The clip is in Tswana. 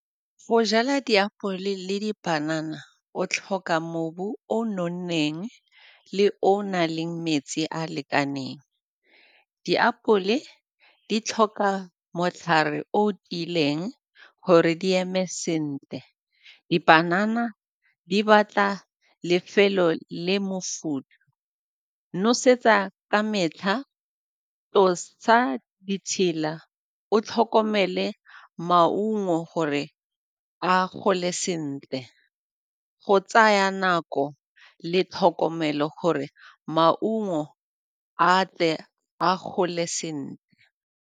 Go jala diapole le dipanana o tlhoka mobu o o nonneng le o o nang le metsi a a lekaneng. Diapole di tlhoka matlhare o o tiileng gore di eme sentle. Dibanana di batla lefelo le mofutho, nosetsa ka metlha, tlosa ditshila o tlhokomele maungo gore a gole sentle, go tsaya nako le tlhokomelo gore maungo a tle a gole sentle.